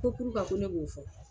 Ko ko ne b'o fɔ ?